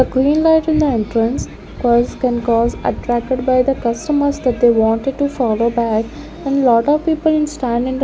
The green light in the entrance cause can cause attracted by the customers that they wanted to follow back and lot of people in stand in the --